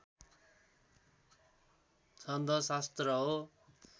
छन्द शास्त्र हो